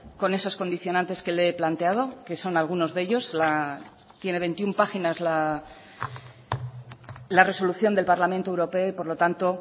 con esos condicionantes que le he planteado que son algunos de ellos tiene veintiuno páginas la resolución del parlamento europeo y por lo tanto